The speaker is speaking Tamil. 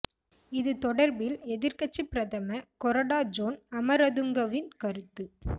இது தொடர்பில் எதிர்க் கட்சி பிரதம கொரடா ஜோன் அமரதுங்கவின் கருத்து